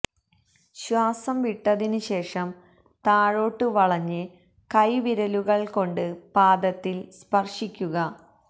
ശ്വാസം വിട്ടതിന് ശേഷം താഴോട്ട് വളഞ്ഞ് കൈ വിരലുകള് കൊണ്ട് പാദത്തില് സ്പര്ശിക്കുക